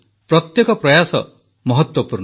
ପ୍ରତ୍ୟେକ ପ୍ରୟାସ ମହତ୍ୱପୂର୍ଣ୍ଣ